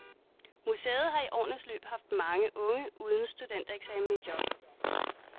Museet har i årenes løb haft mange unge uden studentereksamen i job.